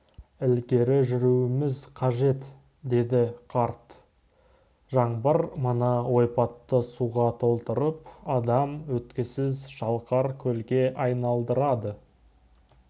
ілгері жүруіміз қажет деді қарт жаңбыр мына ойпатты суға толтырып адам өткісіз шалқар көлге айналдырады